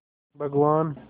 भगवान्